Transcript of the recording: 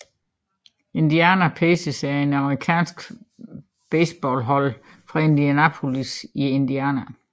Indiana Pacers er et amerikansk basketballhold fra Indianapolis i Indiana